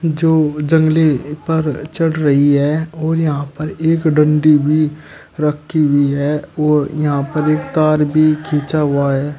जो जंगले पर चढ़ रही है और यहां पर एक डंडी भी रखी हुई है और यहां पर एक तार भी खींचा हुआ है।